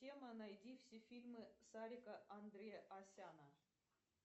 тема найди все фильмы сарика андреасяна